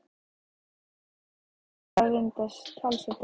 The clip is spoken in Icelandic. Þetta er náttúrlega búið að vinda talsvert upp á sig.